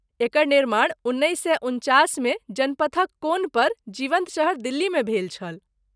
एकर निर्माण उन्नैस सए उनचासमे जनपथक कोनपर जीवन्त शहर दिल्लीमे भेल छल।